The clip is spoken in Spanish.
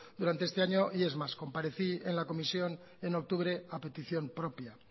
durante este año y es más comparecí en la comisión en octubre a petición propia